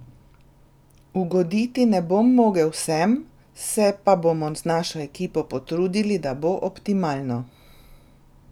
Ugoditi ne bom mogel vsem, se pa bomo z našo ekipo potrudili, da bo optimalno.